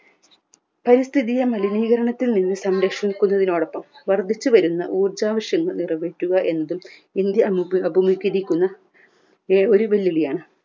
പരിസ്ഥിതിയെ മലിനീകരണത്തിൽ നിന്നും സംരക്ഷിക്കുന്നതിനോടൊപ്പം വർദ്ധിച്ചുവരുന്ന ഊർജാവശ്യം നിറവേറ്റുക എന്നതും ഇന്ത്യ അഭി അഭിമുകീകരിക്കുന്ന എ ഒരു വെൽ വിളിയാണ്